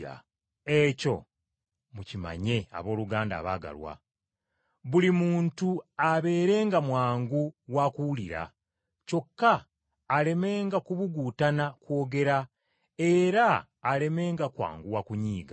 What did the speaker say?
Ekyo mukimanye abooluganda abaagalwa! Buli muntu abeerenga mwangu wa kuwulira, kyokka alemenga kubuguutana kwogera, era alemenga kwanguwa kunyiiga.